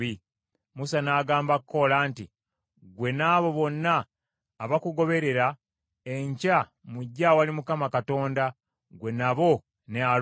Musa n’agamba Koola nti, “Ggwe n’abo bonna abakugoberera, enkya mujje awali Mukama Katonda, ggwe nabo ne Alooni.